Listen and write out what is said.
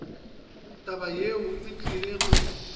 taba yeo e tlile go